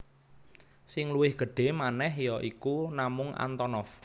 Sing luwih gedhé manèh ya iku namung Antonov